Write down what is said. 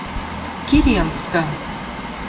киренска